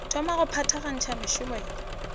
thoma go phethagatša mešomo ya